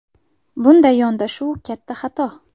Bunday yondashuv katta xato.